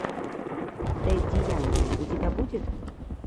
дэдди янки у тебя будет